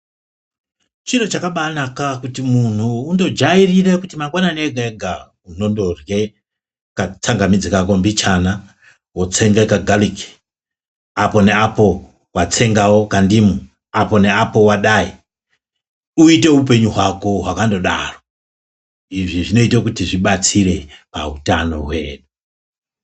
Chiro chakabana kuti muntu unojairire kuti mangwanani ega ega unondorye katsangamidzi kako mbichana, woysenge kagaliki apo neapo, watengawo kandimu apo neapo wadai uite upenyu hwako hwakandodaro izvi zvinoite kuti zvibatsire pahutano hwedu.